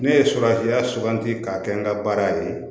Ne ye surafiya suganti k'a kɛ n ka baara ye